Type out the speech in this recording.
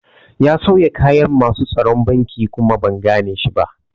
Ya sauya kayan masu tsaron banki kuma ban gane shi ba